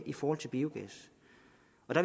i forhold til biogas